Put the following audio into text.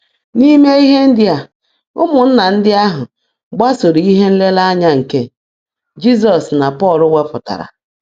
N’ime ihe ndị a, ụmụnna ndị ahụ gbasoro ihe nlereanya nke Jizọs na Pọl wepụtara.